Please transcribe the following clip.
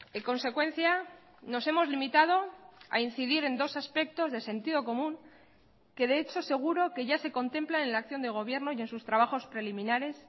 en consecuencia nos hemos limitado a incidir en dos aspectos de sentido común que de hecho seguro que ya se contemplan en la acción de gobierno y en sus trabajos preliminares